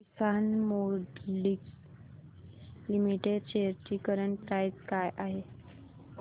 किसान moulding limited shares ची current price काय आहे